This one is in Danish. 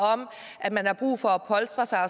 om at man har brug for at polstre sig